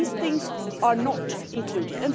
These things are not included.